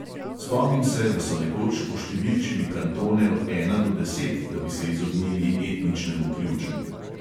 Spomnim se, da so nekoč oštevilčili kantone od ena do deset, da bi se izognili etničnemu ključu.